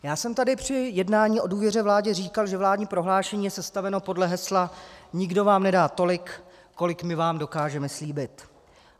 Já jsem tady při jednání o důvěře vládě říkal, že vládní prohlášení je sestaveno podle hesla "nikdo vám nedá tolik, kolik my vám dokážeme slíbit".